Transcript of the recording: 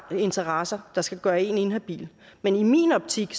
interesser der skal gøre en inhabil men i min optik